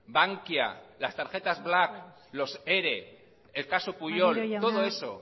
bankia las tarjetas black los ere el caso pujol todo eso